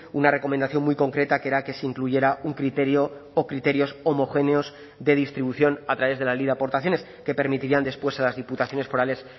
una recomendación muy concreta que era que se incluyera un criterio o criterios homogéneos de distribución a través de la ley de aportaciones que permitirían después a las diputaciones forales